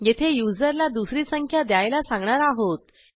येथे युजरला दुसरी संख्या द्यायला सांगणार आहोत